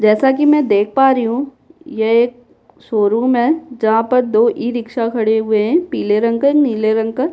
जैसा कि मैं देख पा रही हूँ ये एक शोरूम है जहाँ पर दो ई-रिक्शा खड़े हुए हैं पीले रंग का नीले रंग का --